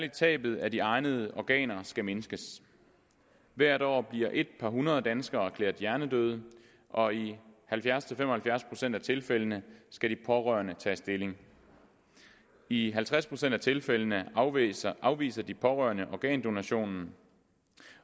at tabet af de egnede organer skal mindskes hvert år bliver et par hundrede danskere erklæret hjernedøde og i halvfjerds til fem og halvfjerds procent af tilfældene skal de pårørende tage stilling i halvtreds procent af tilfældene afviser afviser de pårørende organdonationen